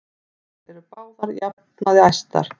Þar eru þær báðar að jafnaði æðstar.